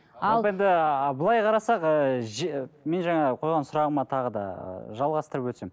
енді былай қарасақ ыыы мен жаңа қойған сұрағыма тағы да жалғастырып өтсем